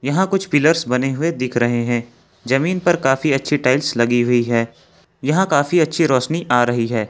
यहां कुछ पिलर्स बने हुए दिख रहे हैं जमीन पर काफी अच्छी टाइल्स लगी हुई है यहां काफी अच्छी रोशनी आ रही है।